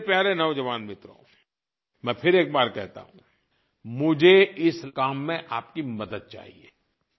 लेकिन मेरे प्यारे नौजवान मित्रो मैं फिर एक बार कहता हूँ मुझे इस काम में आपकी मदद चाहिए